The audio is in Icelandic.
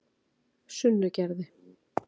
Sunnugerði